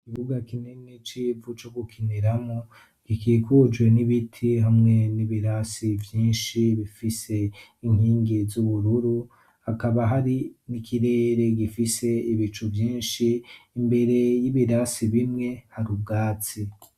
Ikibuga kinini c'ivu co gukiniramwo, gikikujwe n'ibiti hamwe n'ibirasi vyinshi. Bifise inkingi z'ubururu hakaba hari n'ikirere gifise ibicu vyinshi. Imbere y'ibirasi bimwe hari ubwatsi.